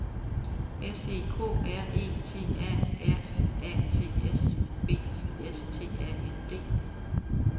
S E K R E T A R I A T S B I S T A N D